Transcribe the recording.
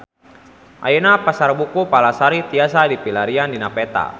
Ayeuna Pasar Buku Palasari tiasa dipilarian dina peta